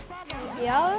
já